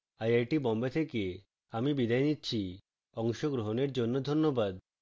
I I T Bombay থেকে আমি বিদায় নিচ্ছি অংশগ্রহনের জন্যে ধন্যবাদ